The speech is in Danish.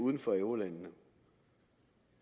uden for eurolandene